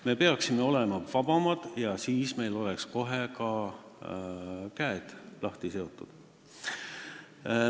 Me peaksime olema vabamad, siis oleks meil käed lahti seotud.